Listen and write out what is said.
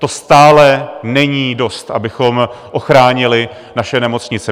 To stále není dost, abychom ochránili naše nemocnice.